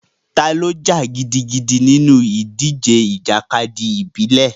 Ta ló jà gidigidi nínú ìdíje ìjàkadì ìbílẹ̀?